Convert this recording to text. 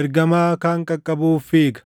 ergamaa kaan qaqqabuuf fiiga;